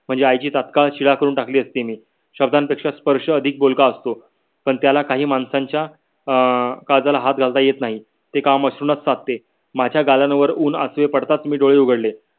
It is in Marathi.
म्हणजे आई ची तत्काल करून टाकली असती मी. शब्दांपेक्षा स्पर्श अधिक बोलक असतो. पण त्याला काही माणसांच्या अं काळजाला हाथ घालत येत नाही ते काम अश्रु नाच साधते. माझ्या गालावर ऊन अश्रु पडताच मी डोळे उघडले.